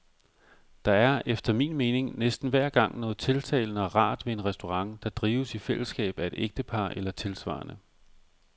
Der er, efter min mening, næsten hver gang noget tiltalende og rart ved en restaurant, der drives i fællesskab af et ægtepar eller tilsvarende.